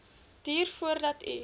duur voordat u